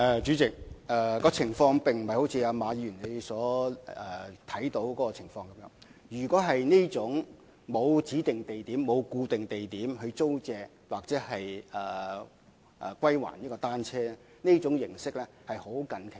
主席，情況並非一如馬議員所見，因為若說是沒有指定或固定地點租借或歸還單車的服務，這種形式確實是在非常近期出現。